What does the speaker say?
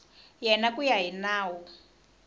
yena ku ya hi nawu